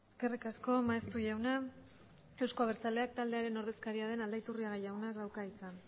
eskerrik asko maeztu jauna euzko abertzaleak taldearen ordezkaria den aldaiturriaga jaunak dauka hitza